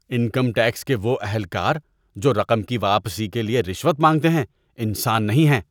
Income tax کے وہ اہلکار جو رقم کی واپسی کے لیے رشوت مانگتے ہیں انسان نہیں ہیں۔